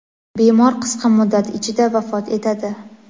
bemor qisqa muddat ichida vafot etadi.